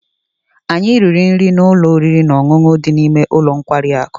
anyị riri nri na ụlọ oriri na ọṅụṅụ dị n'ime ụlọ nkwari akụ